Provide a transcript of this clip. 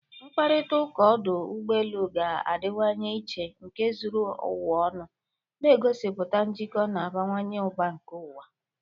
Mkparịta ụka ọdụ ụgbọ elu ga-adịwanye iche na nke zuru ụwa ọnụ, na-egosipụta njikọ na-abawanye ụba nke ụwa